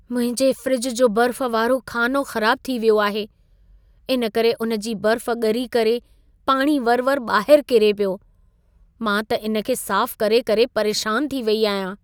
मुंहिंजे फ़्रिज जो बर्फ़ वारो ख़ानो ख़राब थी वियो आहे। इन करे उन जी बर्फ़ ॻरी करे पाणी वरि-वरि ॿाहिरि किरे पियो। मां त इन खे साफ़ करे-करे परेशान थी वेई आहियां।